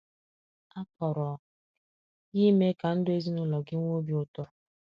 A kpọrọ ya Ime Ka Ndu Ezinụlọ Gị Nwee Obi Ụtọ.